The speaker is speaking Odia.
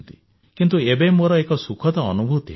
କିନ୍ତୁ ଏବେ ମୋର ଏକ ସୁଖଦ ଅନୁଭୂତି ହେଲା